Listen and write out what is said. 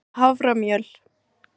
haframjöl